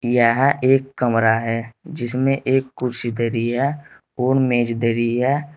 यह एक कमरा है जिसमें एक कुर्सी धरी है और मेज धरी है।